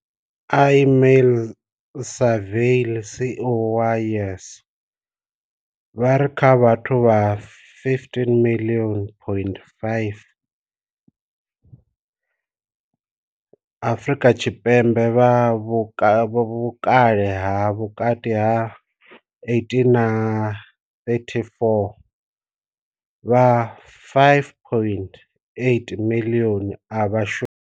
Ismail-Saville CEO wa YES, vha ri kha vhathu vha 15.5 miḽioni Afrika Tshipembe vha vhukale ha vhukati ha 18 na 34, vha 5.8 miḽioni a vha shumi.